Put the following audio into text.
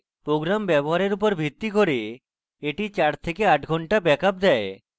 program ব্যবহারের উপর ভিত্তি করে এটি 4 থেকে 8 ঘন্টা ব্যাকআপ দেয়